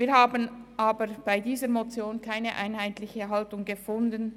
Wir haben aber bei dieser Motion keine einheitliche Haltung gefunden.